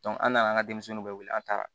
an nana an ka denmisɛnninw bɛɛ wele an taara